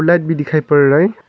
Light भी दिखाई पड़ रहा है।